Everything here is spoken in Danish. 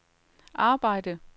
arbejde